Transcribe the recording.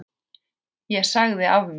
Ég sagði af mér.